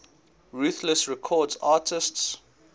ruthless records artists